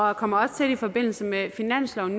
og kommer også i forbindelse med finansloven